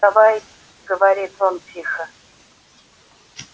давай говорит он тихо